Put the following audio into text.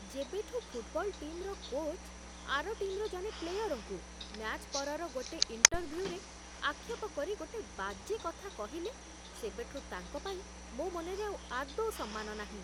ଯେବେଠୁ ଫୁଟ୍‌ବଲ୍ ଟିମ୍‌ର କୋଚ୍ ଆର ଟିମ୍‌ର ଜଣେ ପ୍ଲେୟରଙ୍କୁ, ମ୍ୟାଚ୍ ପରର ଗୋଟେ ଇଣ୍ଟରଭ୍ୟୁରେ, ଆକ୍ଷେପ କରି ଗୋଟେ ବାଜେ କଥା କହିଲେ, ସେବେଠୁ ତାଙ୍କ ପାଇଁ ମୋ' ମନରେ ଆଉ ଆଦୌ ସମ୍ମାନ ନାହିଁ ।